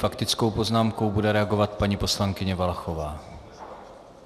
Faktickou poznámkou bude reagovat paní poslankyně Valachová.